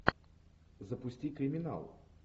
запусти криминал